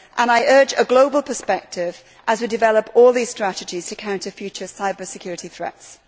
I urge a global perspective as we develop all these strategies to counter future cyber security threats.